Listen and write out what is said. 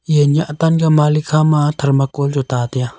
e nah tang ka malik hama thermocol chu ta taiya.